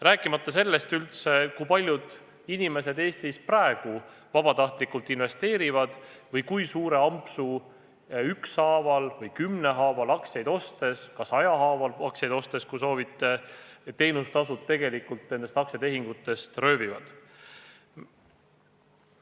Rääkimata sellest, kui paljud inimesed Eestis üldse praegu vabatahtlikult investeerivad või kui suure ampsu ükshaaval või kümmehaaval aktsiaid ostes – ka sadahaaval aktsiaid ostes, kui soovite – teenustasud tegelikult tehingutest röövivad.